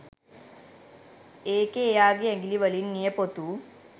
ඒකේ එයාගේ ඇගිලි වලින් නියපොතු